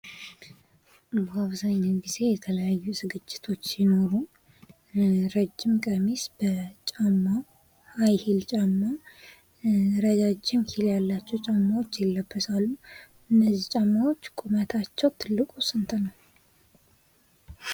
አብዛኛውን ጊዜ የተለያዩ ዝግጅቶች ሲኖሩ ረጅም ቀሚስ በጫማ፣ ረጃጅም ሂል ያላቸው ጫማዎች ይለበሳሉ። እነዚህ ጫማዎች ቁመታቸው ትልቁ ስንት ነው?